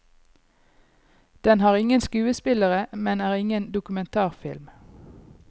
Den har ingen skuespillere, men er ingen dokumentarfilm.